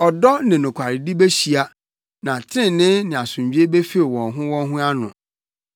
Ɔdɔ ne nokwaredi behyia, na trenee ne asomdwoe befew wɔn ho wɔn ho ano.